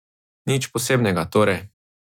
Nič posebnega, torej.